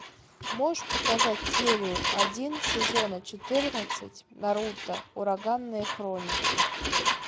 можешь показать серию один сезона четырнадцать наруто ураганные хроники